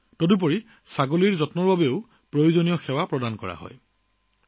কেৱল ইমানেই নহয় ছাগলীৰ যত্নৰ বাবেও প্ৰয়োজনীয় সেৱা আগবঢ়োৱা হয়